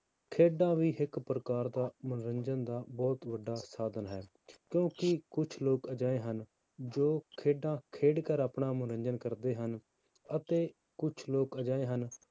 ਖੇਡਾਂ ਵੀ ਇੱਕ ਪ੍ਰਕਾਰ ਦਾ ਮਨੋਰੰਜਨ ਦਾ ਬਹੁਤ ਵੱਡਾ ਸਾਧਨ ਹੈ ਕਿਉਂਕਿ ਕੁਛ ਲੋਕ ਅਜਿਹੇ ਹਨ, ਜੋ ਖੇਡਾਂ ਖੇਡ ਕਰ ਆਪਣਾ ਮਨੋਰੰਜਨ ਕਰਦੇ ਹਨ, ਅਤੇ ਕੁਛ ਲੋਕ ਅਜਿਹੇ ਹਨ